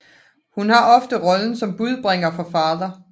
Hun har ofte rollen som budbringer for Father